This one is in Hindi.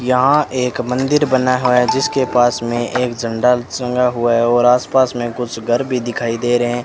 यहां एक मंदिर बना हुआ जिसके पास में एक झंडा संगा हुआ है और आस पास में कुछ घर भी दिखाई दे रहें --